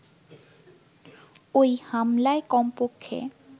ওই হামলায় কমপক্ষে